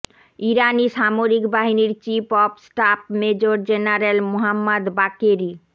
ইরানি সামরিক বাহিনীর chief of staff major general Mohammad Bagheri